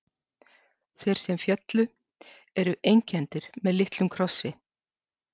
Þeir sem féllu eru einkenndir með litlum krossi.